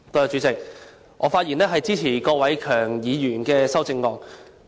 主席，我發言支持郭偉强議員的修正案。